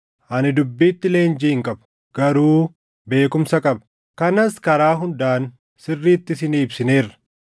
Ani dubbiitti leenjii hin qabu; garuu beekumsa qaba. Kanas karaa hundaan sirriitti isinii ibsineerra.